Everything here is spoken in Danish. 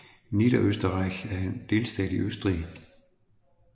Niederösterreich er en delstat i Østrig